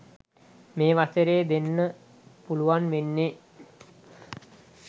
මේ වසරේ දෙන්න පුළුවන් වෙන්නේ